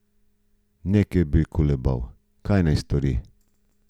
Ne ker bi kolebal, kaj naj stori.